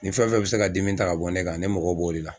Ni fɛn fɛn bɛ se ka dimi ta ka bɔ ne kan ne mgɔ b'o de la.